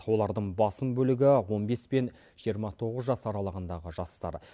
олардың басым бөлігі он бес пен жиырма тоғыз жас аралағындағы жастар